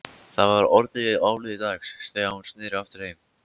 Það var orðið áliðið dags þegar hún sneri aftur heim.